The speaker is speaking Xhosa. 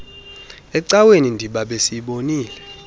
ecaweni ndiba besiyibonile